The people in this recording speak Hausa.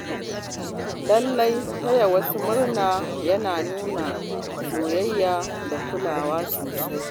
Lallai Taya wasu murna yana nuna soyayya da kulawa sosai.